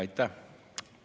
Aitäh!